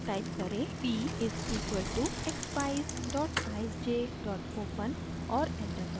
type करें: p = expeyes eyesj open और enter दबाएँ